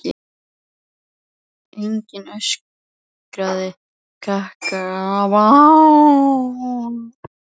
Engir öskrandi krakkar eða skvaldrandi kvenfólk á torgum eða götuhornum.